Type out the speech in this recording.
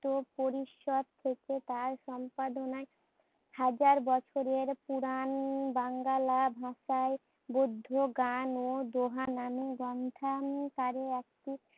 ত্য পরিশ্চদ থেকে তার সম্পাদনায় হাজার বছরের পুরান বাংলা ভাষায় বোধ্য গান ও দোহা নামে গ্রন্থা আকারে একটি